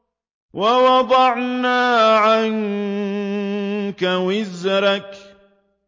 وَوَضَعْنَا عَنكَ وِزْرَكَ